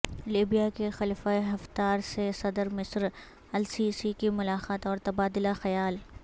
Libya کے Khalifa Haftar سے صدر مصر السیسی کی ملاقات اور تبادلہ خیال